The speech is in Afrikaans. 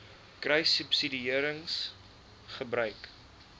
kruissubsidiëringgebruik